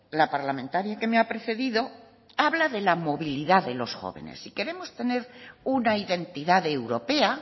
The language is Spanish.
la parlamentaria que me ha precedido habla de la movilidad delos jóvenes si queremos tener una identidad europea